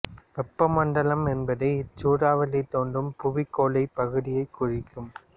வெப்பமண்டலம் என்பது இச் சூறாவளி தோன்றும் புவிக்கோளப் பகுதியைக் குறிக்கும்